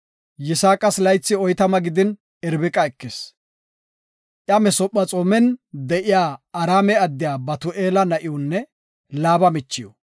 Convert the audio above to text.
Yisaaqas laythi oytama gidin, Irbiqa ekis; iya Masephexoomen de7iya Araame addiya Batu7eela na7iwunne Laaba michiw.